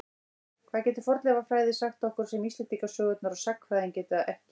Hvað getur fornleifafræði sagt okkur sem Íslendingasögurnar og sagnfræðin geta ekki?